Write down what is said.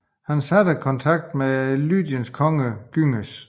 Han hadde kontakt med Lydiens konge Gyges